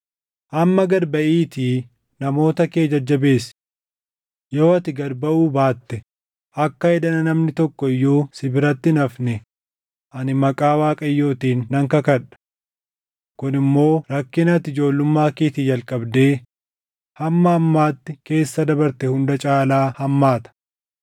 Amma gad baʼiitii namoota kee jajjabeessi. Yoo ati gad baʼuu baatte akka edana namni tokko iyyuu si biratti hin hafne ani maqaa Waaqayyootiin nan kakadha. Kun immoo rakkina ati ijoollummaa keetii jalqabdee hamma ammaatti keessa dabarte hunda caalaa hammaata.”